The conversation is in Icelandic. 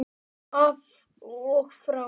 Af og frá.